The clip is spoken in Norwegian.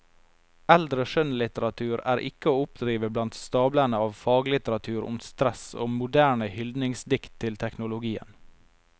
Eldre skjønnlitteratur er ikke å oppdrive blant stablene av faglitteratur om stress og moderne hyldningsdikt til teknologien.